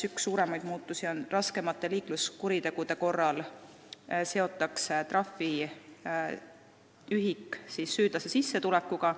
Üks suuremaid muudatusi on see, et raskemate liikluskuritegude korral seotakse trahviühik süüdlase sissetulekuga.